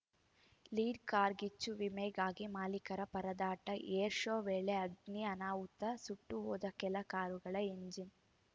ಲೀಡ್‌ಕಾರ್ಗಿಚ್ಚು ವಿಮೆಗಾಗಿ ಮಾಲಿಕರ ಪರದಾಟ ಏರ್‌ಶೋ ವೇಳೆ ಅಗ್ನಿ ಅನಾಹುತ ಸುಟ್ಟುಹೋದ ಕೆಲ ಕಾರುಗಳ ಇಂಜಿನ್